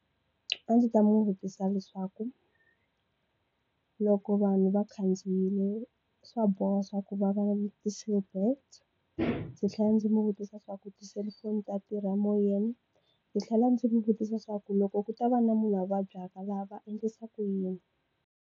A ndzi ta n'wi vutisa leswaku loko vanhu va khandziyile swa boha swa ku va va na ti seatbelts ndzi tlhela ndzi n'wi vutisa swa ku tiselufoni ta tirha emoyeni ndzi tlhela ndzi n'wi vutisa swa ku loko ku ta va na munhu a vabyaka laha va endlisa ku yini?